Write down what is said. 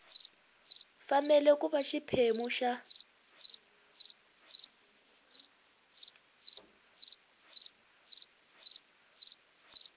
fanele ku va xiphemu xa